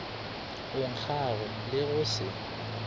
o nkgago le go se